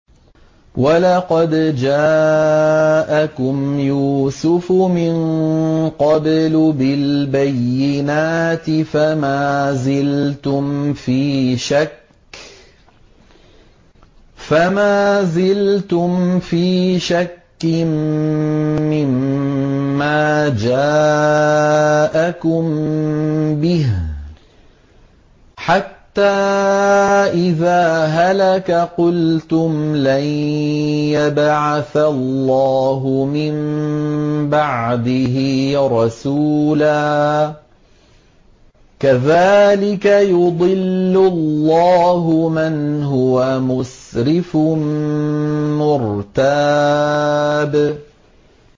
وَلَقَدْ جَاءَكُمْ يُوسُفُ مِن قَبْلُ بِالْبَيِّنَاتِ فَمَا زِلْتُمْ فِي شَكٍّ مِّمَّا جَاءَكُم بِهِ ۖ حَتَّىٰ إِذَا هَلَكَ قُلْتُمْ لَن يَبْعَثَ اللَّهُ مِن بَعْدِهِ رَسُولًا ۚ كَذَٰلِكَ يُضِلُّ اللَّهُ مَنْ هُوَ مُسْرِفٌ مُّرْتَابٌ